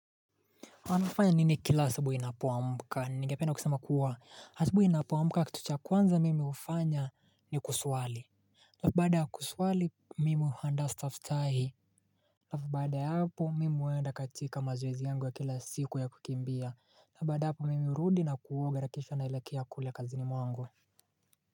Anafanya nini kila sabu inapuwa mbuka ni ngepena kusema kuwa asabu inapuwa mbuka kitucha kwanza mimi ufanya ni kuswali Lafu baada ya kuswali mimi handa stafitahi Lafu baada ya hapo mimi uenda katika mazwezi yangu wa kila siku ya kukimbia na baada hapo mimi urudi na kuoga na kisha nailekea kule kazi ni mwangu.